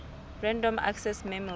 random access memory